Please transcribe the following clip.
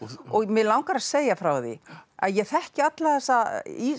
og mig langar að segja frá því að ég þekki alla þessa